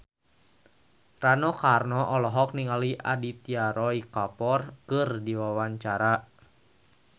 Rano Karno olohok ningali Aditya Roy Kapoor keur diwawancara